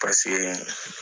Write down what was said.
pasekee